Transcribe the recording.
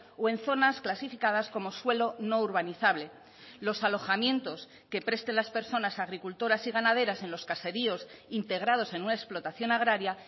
o en zonas clasificadas como suelo no urbanizable los alojamientos que presten las personas agricultoras y ganaderas en los caseríos integrados en una explotación agraria